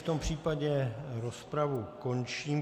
V tom případě rozpravu končím.